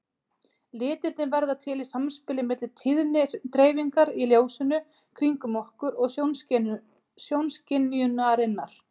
Litirnir verða til í samspili milli tíðnidreifingar í ljósinu kringum okkur og sjónskynjunarinnar.